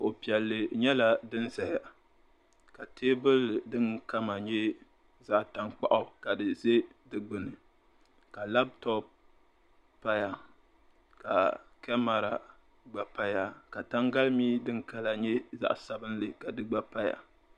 kuɣu piɛlli nyɛla din ʒɛya ka teebuli din kama nyɛ zaɣ tankpaɣu ka di ʒɛ di gbuni ka labtop paya ka kamɛra gba paya ka tangali mii din kala nyɛ zaɣ sabinli ka di gba paya